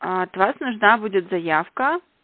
от вас нужна будет заявка